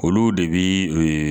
Olu de bi